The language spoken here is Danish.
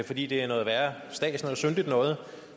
fordi det er noget værre stads noget syndigt noget